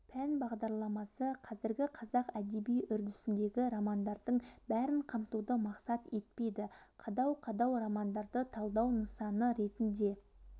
пән бағдарламасы қазіргі қазақ әдеби үрдісіндегі романдардың бәрін қамтуды мақсат етпейді қадау-қадау романдарды талдау нысаны ретінде